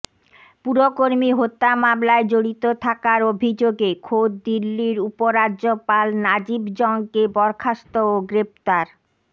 পুরকর্মী হত্যা মামলায় জড়িত থাকার অভিযোগে খোদ দিল্লির উপরাজ্যপাল নাজিব জঙ্গকে বরখাস্ত ও গ্রেফতার